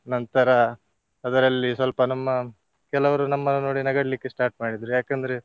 ನಂತರ ಅದರಲ್ಲಿ ಸ್ವಲ್ಪ ನಮ್ಮ ಕೆಲವರು ನಮ್ಮನ್ನು ನೋಡಿ ನಗಾಡ್ಲಿಕ್ಕೆ start ಮಾಡಿದ್ರು ಯಾಕಂದ್ರೆ.